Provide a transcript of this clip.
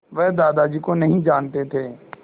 वह दादाजी को नहीं जानते थे